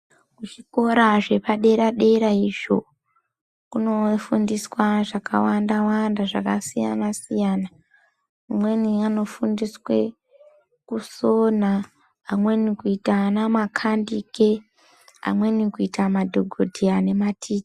Kuzvikora zvepadera dera izvo, kunofundiswa zvakawanda wanda, zvakasiyana siyana, amweni anofundiswe kusona. Amweni kuita ana makhandike amweni kuita madhogodheya nemati...